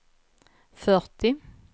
fyrtio